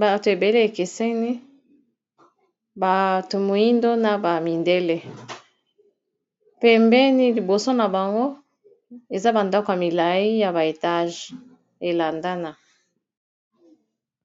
bato ebele bakeseni, bato moindo na ba mindele, pembeni liboso na bango eza bandako ya milai ya ba etage elandana.